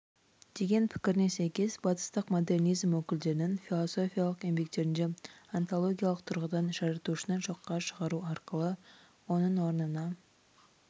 деген пікіріне сәйкес батыстық модернизм өкілдерінің философиялық еңбектерінде онтологиялық тұрғыдан жаратушыны жоққа шығару арқылы оның орнына